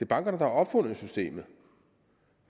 bankerne der har opfundet systemet